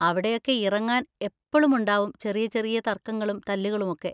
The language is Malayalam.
അവിടെയൊക്കെ ഇറങ്ങാൻ എപ്പളും ഉണ്ടാവും ചെറിയ ചെറിയ തർക്കങ്ങളും തല്ലുകളുമൊക്കെ.